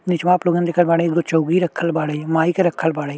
निचोवा आप लोग देखल बाड़े एगो चौकी रखल बाड़े माई के रखल बाड़े।